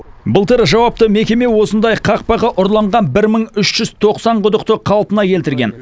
былтыр жауапты мекеме осындай қақпағы ұрланған бір мың үш жүз тоқсан құдықты қалпына келтірген